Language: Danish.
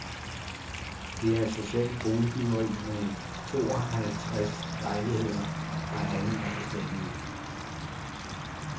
Det er socialt boligbyggeri med tooghalvtreds lejligheder, der alle er forskellige.